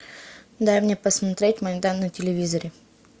дай мне посмотреть майдан на телевизоре